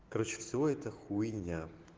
короче все это хуйня